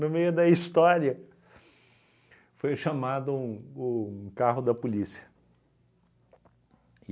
No meio da história foi chamado um um carro da polícia.